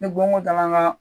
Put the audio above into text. Ni bon ko ta la an ka